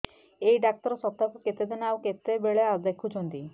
ଏଇ ଡ଼ାକ୍ତର ସପ୍ତାହକୁ କେତେଦିନ ଆଉ କେତେବେଳେ ଦେଖୁଛନ୍ତି